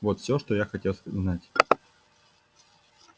вот все что я хотел знать